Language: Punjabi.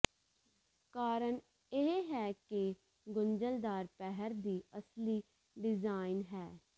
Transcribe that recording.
ਕਾਰਨ ਇਹ ਹੈ ਕਿ ਗੁੰਝਲਦਾਰ ਪਹਿਰ ਦੀ ਅਸਲੀ ਡਿਜ਼ਾਇਨ ਹੈ